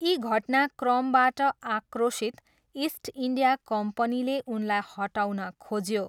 यी घटनाक्रमबाट आक्रोशित, इस्ट इन्डिया कम्पनीले उनलाई हटाउन खोज्यो।